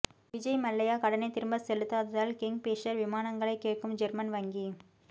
விஜய் மல்லையா கடனை திரும்ப செலுத்தாததால் கிங்பிஷர் விமானங்களை கேட்கும் ஜெர்மன் வங்கி